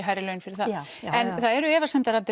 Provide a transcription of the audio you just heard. hærri laun fyrir það það eru efasemdir